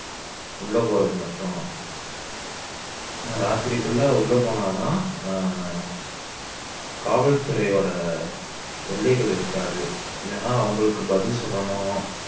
உள்ள போனாதான் உள்ள போறது மட்டும் ராத்திரிக்குள்ள உள்ள போனா தான் ஆஹ் காவல்துறையோட தொல்லைகள் இருக்காது இல்லன்னா அவங்களுக்கு பதில் சொல்லணும்